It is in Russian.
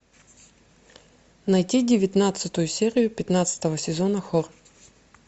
найти девятнадцатую серию пятнадцатого сезона хор